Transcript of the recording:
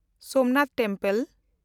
Somnath Mandir